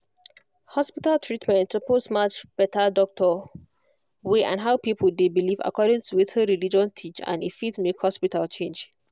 hospital treatment suppose match better doctor way and how people dey believe according to wetin religion teach and e fit make hospital change